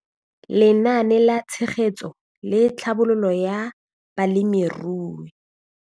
Lenaane la Tshegetso le Tlhabololo ya Balemirui.